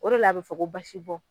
O de la a be fɔ ko basi bɔ